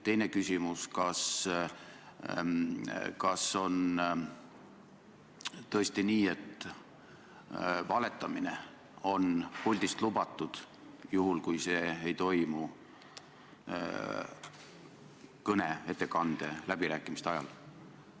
Teine küsimus: kas on tõesti nii, et valetamine on puldist lubatud, juhul kui see ei toimu kõne, ettekande või läbirääkimiste ajal?